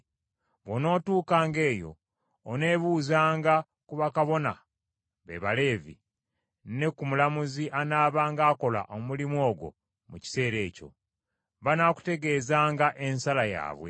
Bw’onootuukanga eyo oneebuuzanga ku bakabona, be Baleevi, ne ku mulamuzi anaabanga akola omulimu ogwo mu kiseera ekyo. Banaakutegeezanga ensala yaabwe.